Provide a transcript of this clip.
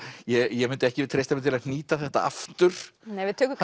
ég myndi ekki treysta mér til að hnýta þetta aftur við tökum